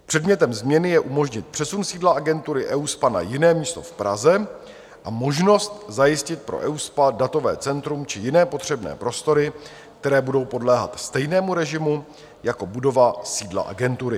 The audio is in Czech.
Předmětem změny je umožnit přesun sídla agentury EUSPA na jiné místo v Praze a možnost zajistit pro EUSPA datové centrum či jiné potřebné prostory, které budou podléhat stejnému režimu jako budova sídla agentury.